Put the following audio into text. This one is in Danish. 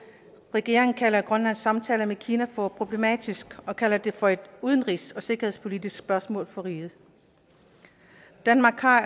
regeringen kalder grønlands samtaler med kina for problematiske og kalder det for et udenrigs og sikkerhedspolitisk spørgsmål for riget danmark har